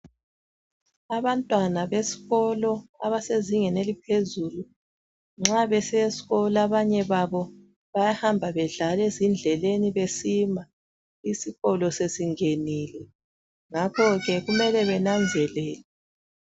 Abantwana besikolo abase zingeni eliphezulu nxa besiya esikolo abanye babo bayahamba bedlala ezindleleni besima isikolo sesingenile ngakho ke kumele bananzelelwe.